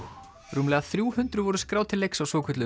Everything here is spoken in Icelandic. rúmlega þrjú hundruð voru skráð til leiks á svokölluðu